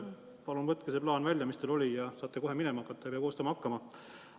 Palun võtke see plaan välja, mis teil oli, ja saate kohe edasi minema hakata, ei pea midagi koostama hakkama.